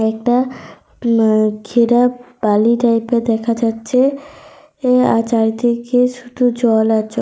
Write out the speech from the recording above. একটা উম ঘেরা বালি টাইপ -এর দেখা যাচ্ছে। এ আর চারিদিকে শুধু জল আর জ--